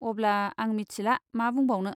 अब्ला, आं मिथिला मा बुंबावनो।